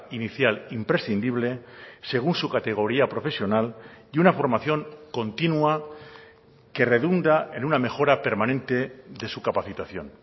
inicial imprescindible según su categoría profesional y una formación continua que redunda en una mejora permanente de su capacitación